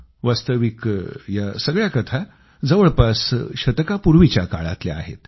वास्तविक या सगळ्या कथा जवळपास शतकापूर्वीच्या काळातल्या आहेत